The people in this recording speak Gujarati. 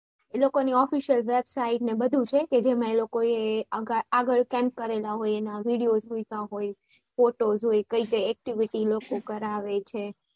એ લોકો ની official website ને એ બધું પણ છે કે જેમાં એ લોકો એ આગળ camp કરેલા હોય એના videos લીધા હોય photos હોય કઈ કઈ activity એ લોકો કરાવે છે